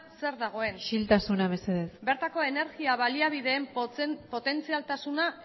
zer dagoen isiltasuna mesedez bertako energia baliabideen potentzialtasuna